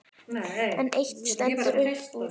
En eitt stendur upp úr.